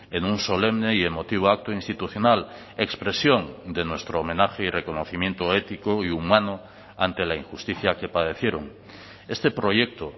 en un solemne y emotivo acto institucional expresión de nuestro homenaje y reconocimiento ético y humano ante la injusticia que padecieron este proyecto